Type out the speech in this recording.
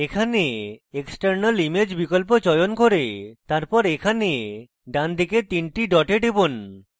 এখানে external image বিকল্প চয়ন করুন তারপর এখানে ডানদিকে 3 the ডটে টিপুন